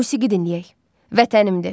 Musiqi dinləyək: “Vətənimdir”.